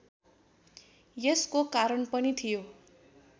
यसको कारण पनि थियो